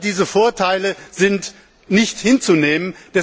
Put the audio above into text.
All diese Vorteile sind nicht hinzunehmen.